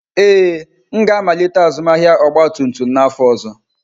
Ee, m ga-amalite azụmahịa ọgba tum tum n'afọ ọzọ.